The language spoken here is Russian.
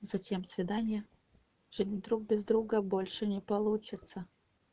зачем свидание жить друг без друга больше не получится